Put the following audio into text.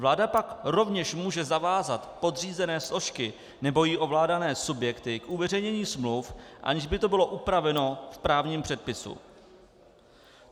Vláda pak rovněž může zavázat podřízené složky nebo jí ovládané subjekty k uveřejnění smluv, aniž by to bylo upraveno v právním předpise.